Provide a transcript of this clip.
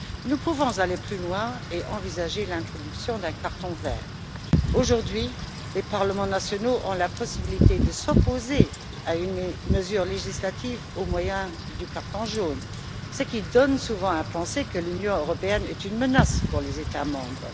Nous pouvons aller plus loin et envisager l'introduction d'un carton vert. Aujourd'hui, les parlements nationaux ont la possibilité de s'opposer à une mesure législative au moyen du carton jaune, ce qui donne souvent à penser que l'Union européenne est une menace pour les États membres.